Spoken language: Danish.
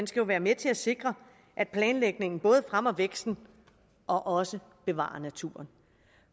skal være med til at sikre at planlægningen både fremmer væksten og også bevarer naturen